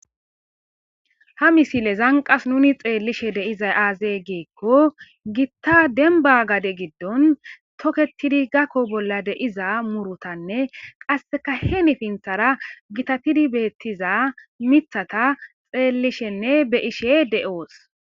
Ha misilezan qas nun xelishe dizayis aze giiko gitta deniba gade gidon toketidi gako bolla murutanee qaseka hinipithara gitatidi betiza mithata xelishenee be'ishe do'os